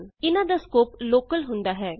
ਇਹਨਾਂ ਦਾ scope local ਹੁੰਦਾ ਹੈ